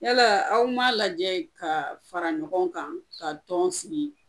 Yalaa aw m'a lajɛ ka fara ɲɔgɔn kan ka tɔn sigi?